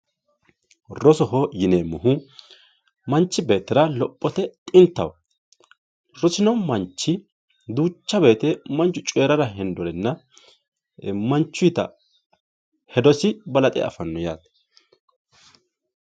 rosoho yineemmohu manchi beettira lophote xintaho rosino manchi duucha woyiite manchu coyiirara hasirinorenna manchuyiita hedosi balaxe afanno yaate